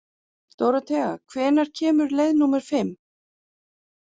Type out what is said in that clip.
Dóróthea, hvenær kemur leið númer fimm?